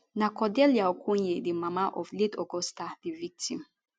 na cordelia okonye di mama of late augusta di victim